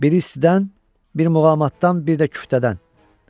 Biri istidən, biri muğamatdan, bir də küftədən.